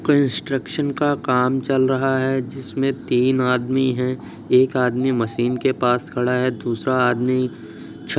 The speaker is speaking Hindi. कंस्ट्रक्शन का काम चल रहा है। जिसमे तीन आदमी है। एक आदमी मशीन के पास खड़ा है दूसरा आदमी छ --